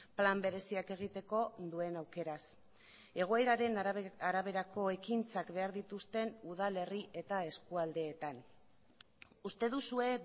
plan bereziak egiteko duen aukeraz egoeraren araberako ekintzak behar dituzten udalerri eta eskualdeetan uste duzue